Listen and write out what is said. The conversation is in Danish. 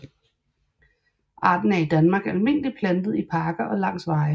Arten er i Danmark almindeligt plantet i parker og langs veje